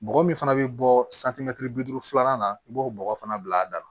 Bɔgɔ min fana bɛ bɔ bi duuru filanan na i b'o bɔgɔ fana bila a da la